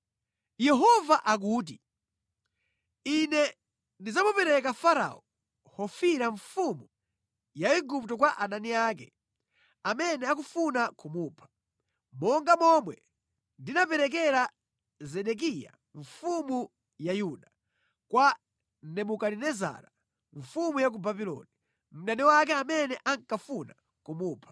Yehova akuti, ‘Ine ndidzamupereka Farao Hofira mfumu ya Igupto kwa adani ake amene akufuna kumupha, monga momwe ndinaperekera Zedekiya mfumu ya Yuda kwa Nebukadinezara mfumu ya ku Babuloni, mdani wake amene ankafuna kumupha.’ ”